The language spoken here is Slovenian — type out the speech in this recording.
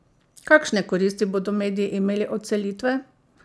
Kakšne koristi bodo mediji imeli od selitve?